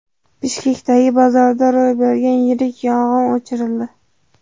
Bishkekdagi bozorda ro‘y bergan yirik yong‘in o‘chirildi.